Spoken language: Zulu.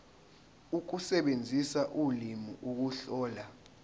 ukusebenzisa ulimi ukuhlola